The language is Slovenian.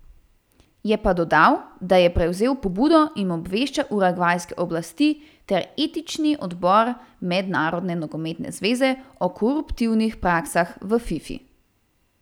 Je pa dodal, da je prevzel pobudo in obvešča urugvajske oblasti ter etični odbor Mednarodne nogometne zveze o koruptivnih praksah v Fifi.